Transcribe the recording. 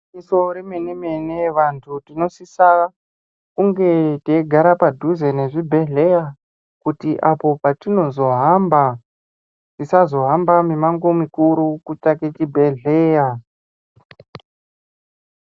Igwinyiso re mene mene vantu tinosisa kunge teigara padhuze ne zvibhedhleya kuti apo patinozo hamba tisazo hamba mi mango mikuru kutsvake chi bhedhleya.